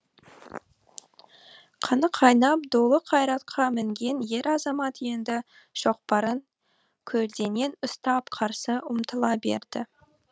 қаны қайнап долы қайратқа мінген ер азамат енді шоқпарын көлденең ұстап қарсы ұмтыла берді